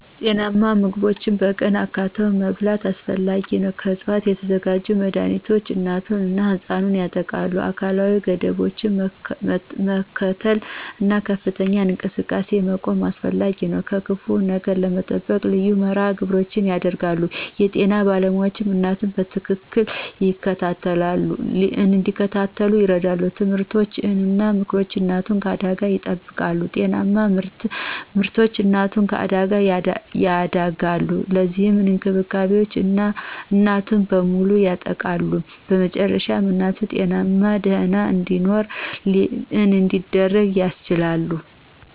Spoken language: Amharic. ጤናማ ምግቦችን በቀን አካትቶ መብላት አስፈላጊ ነው። ከዕፅዋት የተዘጋጁ መድኃኒቶች እናቱን እና ሕፃኑን ያጠብቃሉ። አካላዊ ገደቦችን መከተል እና ከፍተኛ እንቅስቃሴ መቆም አስፈላጊ ነው። ከክፉ ነገር ለመጠበቅ ልዩ መርሃ ግብሮች ይደረጋሉ። የጤና ባለሞያዎች እናቱን በትክክል እንዲከታተሉ ይረዱ። ትምህርቶች እና ምክሮች እናቱን ከአደጋ ይጠብቃሉ። ጤናማ ምርቶች እናቱን ከአደጋ ያደጋሉ። እነዚህ እንክብካቤዎች እናቱን በሙሉ ያጠብቃሉ። በመጨረሻ እናቱ ጤናማና ደህና እንዲኖር እንዲደረግ ያስችላሉ።